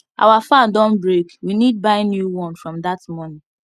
our fan don break we need buy new one from that money